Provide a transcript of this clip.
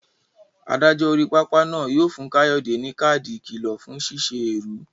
Adájọ́ orí pápá náà yóò fún Kayode ní káàdì ìkìlọ̀ fún ṣíṣe èrú.